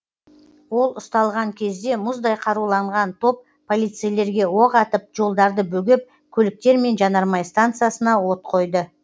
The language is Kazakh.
ол ұсталған кезде мұздай қаруланған топ полицейлерге оқ атып жолдарды бөгеп көліктер мен жанармай станциясына от қойды